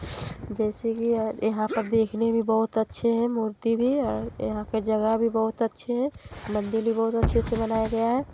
जैसे की य - यहाँ पर देखने में बहोत अच्छे है मूर्ति भी और यहाँ का जगह भी बहुत अच्छे है मंदिर भी बहुत अच्छे से बनाया गया है।